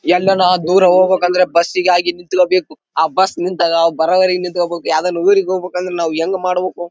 ಎಲ್ಹಾನ ದೂರ ಹೋಗ್ಬೇಕು ಅಂದ್ರೆ ಬಸ್ ಗಾಗಿ ನಿಂತ್ಕೋಬೇಕು ಆ ಬಸ್ ನಿಂತಾಗ ಅವರು ಬರುವರೆಗೂ ನಿಂತ್ಕೋಬೇಕು ಯಾವದಾನ ಊರಿಗೆ ಹೋಗ್ಬೇಕು ಅಂದ್ರೆ ಹೇಗ್ ಮಾಡ್ಬೇಕು .